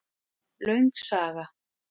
Löng saga